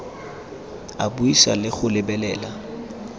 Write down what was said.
a buisa le go lebelela